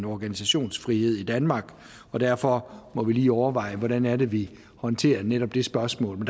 organisationsfrihed i danmark og derfor må vi lige overveje hvordan det er at vi håndterer netop det spørgsmål